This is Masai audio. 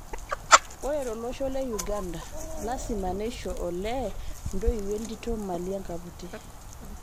Ore to losho le Uganda, lasima neisho olee ntoiwuo entito mali enkaputi